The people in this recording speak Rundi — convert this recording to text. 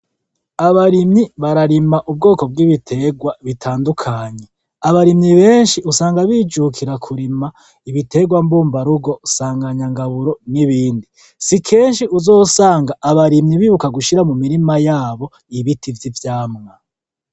Abarimyi bararima ubwoko bw'ibiterwa bitandukanye, abarimyi benshi usanga bijukira kurima ibiterwa mbumbarugo nsanganyagaburo n'ibindi. Si kenshi uzosanga abarimyi bibuka gushira mu mirima yabo ibiti vyi vyamwa.